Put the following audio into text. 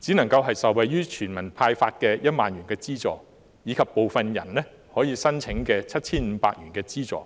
只能夠受惠於全民獲派發的1萬元資助，以及部分人可以申請到 7,500 元資助。